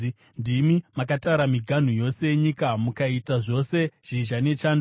Ndimi makatara miganhu yose yenyika; mukaita zvose zhizha nechando.